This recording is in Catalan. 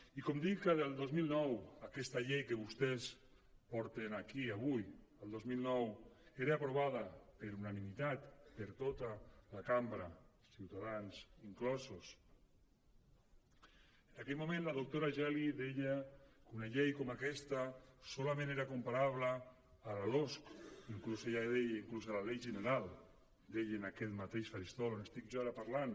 i com dic que des del dos mil nou aquesta llei que vostès porten aquí avui el dos mil nou era aprovada per unanimitat per tota la cambra ciutadans inclosos en aquell moment la doctora geli deia que una llei com aquesta solament era comparable a la losc inclús ella deia a la llei general deia en aquest mateix faristol on estic jo ara parlant